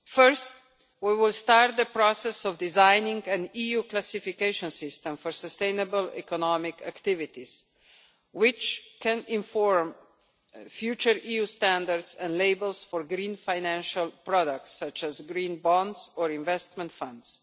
First, we will start the process of designing an EU classification system for sustainable economic activities which can inform future EU standards and labels for green financial products such as green bonds or investment funds.